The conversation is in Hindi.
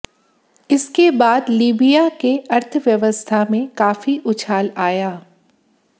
इसके बाद लीबिया के अर्थव्यवस्था में काफी उछाल आया